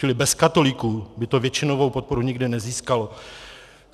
Čili bez katolíků by to většinovou podporu nikdy nezískalo.